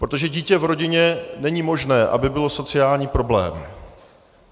Protože dítě v rodině - není možné, aby bylo sociální problém.